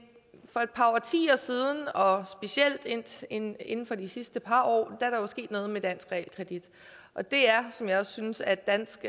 for et par årtier siden og specielt inden inden for de sidste par år er der jo sket noget med dansk realkredit og det er som jeg også synes at dansk